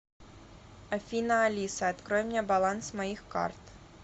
афина алиса открой мне баланс моих карт